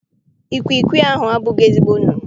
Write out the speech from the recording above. Ikwikwii ahụ abụghị ezigbo nnụnụ.